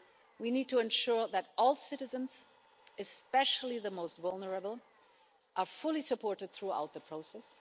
We need to ensure that all citizens especially the most vulnerable are fully supported throughout the process.